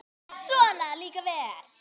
Svona líka vel!